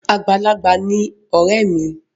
Àgbàlagbà ni ọ̀rẹ́ mi.